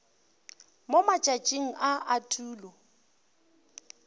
mo matšatšing a a tulo